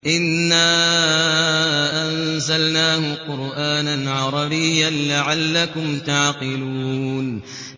إِنَّا أَنزَلْنَاهُ قُرْآنًا عَرَبِيًّا لَّعَلَّكُمْ تَعْقِلُونَ